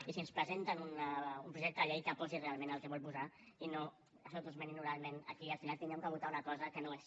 i si ens presenten un projecte de llei que posi realment el que vol posar i no s’autoesmenin oralment aquí i al final hàgim de votar una cosa que no és